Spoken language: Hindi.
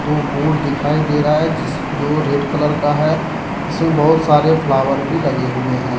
वो बोर्ड दिखाई दे रहा है जिस जो रेड कलर का है जिसमें बहुत सारे फ्लॉवर भी लगे हुए हैं।